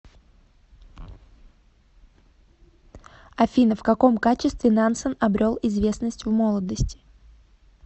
афина в каком качестве нансен обрел известность в молодости